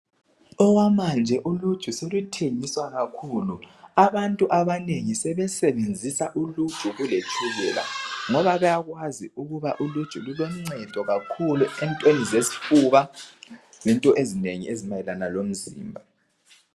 Okwamanje uluju seluthengiswa kakhulu abantu abanengi sebesebenzisa uluju kuletshukela ngoba bayakwazi ukuba uluju luloncedo kakhulu entweni zesifuba lento ezinengi ezimayelana lomzimba